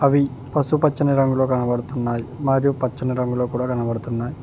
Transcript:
అవి పసుపచ్చని రంగులో కనబడుతున్నాయి మరియు పచ్చని రంగులో కూడా కనబడుతున్నాయి